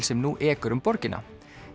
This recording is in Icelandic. sem nú ekur um borgina